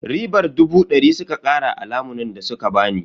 Ribar dubu dari suka kara a lamunin da suka bani.